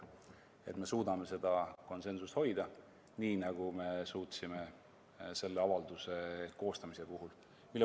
et me suudame seda konsensust hoida, nii nagu me suutsime selle avalduse koostamise puhul.